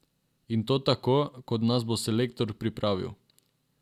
In to tako, kot nas bo selektor pripravil.